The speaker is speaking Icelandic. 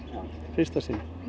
fyrsta sinn